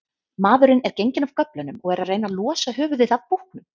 Maðurinn er genginn af göflunum og er að reyna losa höfuðið af búknum.